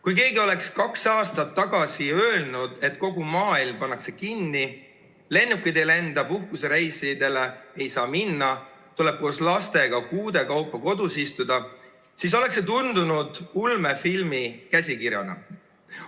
Kui keegi oleks kaks aastat tagasi öelnud, et kogu maailm pannakse kinni, lennukid ei lenda, puhkusereisidele ei saa minna, tuleb koos lastega kuude kaupa kodus istuda, siis oleks see tundunud ulmefilmi käsikirjana.